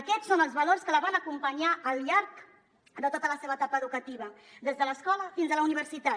aquests són els valors que la van acompanyar al llarg de tota la seva etapa educativa des de l’escola fins a la universitat